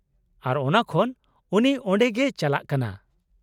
ᱟᱨ ᱚᱱᱟ ᱠᱷᱚᱱ ᱩᱱᱤ ᱚᱸᱰᱮ ᱜᱮᱭ ᱪᱟᱞᱟᱜ ᱠᱟᱱᱟ ᱾